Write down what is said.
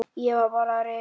Ég var bara rekinn.